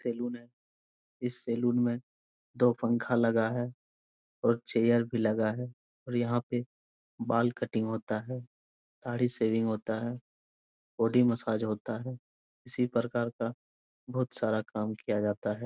Salon है इस salon में दो पंखा लगा है और चेयर भी लगा है और यहाँ पे बाल कटिंग होता है दाढ़ी शेविंग होता है बॉडी मसाज होता है इसी प्रकार का बहुत सारा काम किया जाता है ।